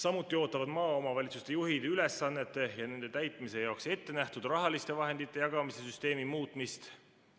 Samuti ootavad maaomavalitsuste juhid ülesannete ja nende täitmise jaoks ettenähtud rahaliste vahendite jagamise süsteemi muutmist.